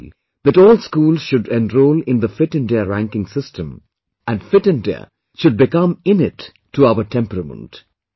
I appeal that all schools should enroll in the Fit India ranking system and Fit India should become innate to our temperament